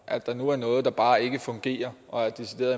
at der nu er noget der bare ikke fungerer og decideret